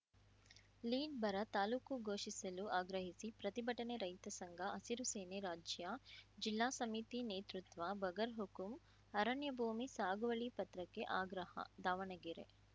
lead ಬರ ತಾಲೂಕು ಘೋಷಿಸಲು ಆಗ್ರಹಿಸಿ ಪ್ರತಿಭಟನೆ ರೈತ ಸಂಘ ಹಸಿರು ಸೇನೆ ರಾಜ್ಯ ಜಿಲ್ಲಾ ಸಮಿತಿ ನೇತೃತ್ವ ಬಗರ್ ಹುಕುಂ ಅರಣ್ಯ ಭೂಮಿ ಸಾಗುವಳಿ ಪತ್ರಕ್ಕೆ ಆಗ್ರಹ ದಾವಣಗೆರೆ